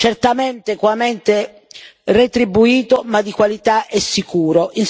certamente equamente retribuito, ma di qualità e sicuro.